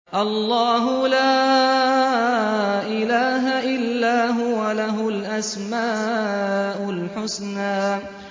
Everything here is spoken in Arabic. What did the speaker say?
اللَّهُ لَا إِلَٰهَ إِلَّا هُوَ ۖ لَهُ الْأَسْمَاءُ الْحُسْنَىٰ